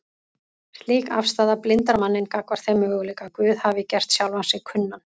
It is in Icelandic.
Slík afstaða blindar manninn gagnvart þeim möguleika að Guð hafi gert sjálfan sig kunnan